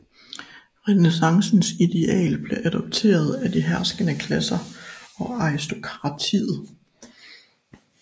Renæssancens ideal blev adopteret af de herskende klasser og aristokratiet